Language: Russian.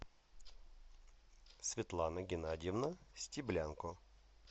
светлана геннадьевна стеблянко